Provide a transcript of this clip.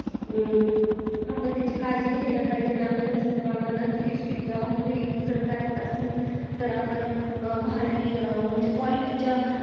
आपण त्याची काळजी घेतली पाहिजेत आपण जास्त प्रमाणत lipstik चा वापर करत असू तर आपण भारी म्हणजे quality च्या